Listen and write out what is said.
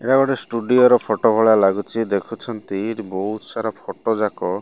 ଏହା ଗୋଟେ ଷ୍ଟୁଡିଓ ର ଫୋଟୋ ଭଳିଆ ଲାଗୁଛି ଦେଖୁଛନ୍ତି ଏଠି ବହୁତ୍ ସାରା ଫଟୋ ଜାକ --